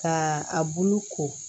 Ka a bulu ko